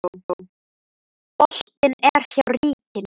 Boltinn er hjá ríkinu.